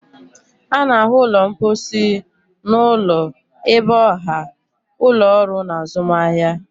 A na-ahụ ụlọ mposi n'ụlọ, ebe ọha, ụlọ ọrụ na azụmahịa.